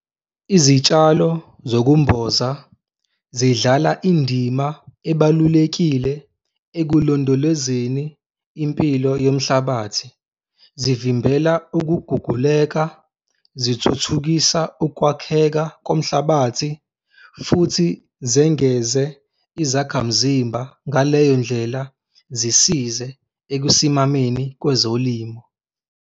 Izitshalo zokumboza zidlala indima ebalulekile ekulondolozeni impilo yomhlabathi, zivimbela ukuguguleka, zithuthukisa ukwakheka komhlabathi futhi zengeze izakhamzimba, ngaleyo ndlela zisize ekusimameni kwezolimo.